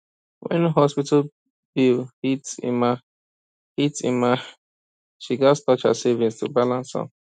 when hospital bill hit emma hit emma she gats touch her savings to balance am